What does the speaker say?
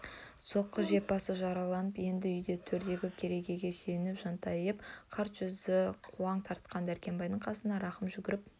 соққы жеп басы жарылып енді үйде төрдегі керегеге сүйене жантайып қарт жүзі қуаң тартқан дәркембайдың қасына рахым жүгіріп